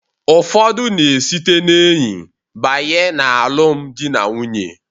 Ụfọdụ na-esite n'enyi banye n'alụm dị na nwunye.